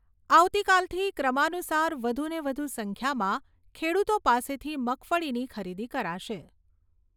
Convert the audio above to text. આવતીકાલથી ક્રમાનુસાર વધુને વધુ સંખ્યામાં ખેડૂતો પાસેથી મગફળીની ખરીદી કરાશે.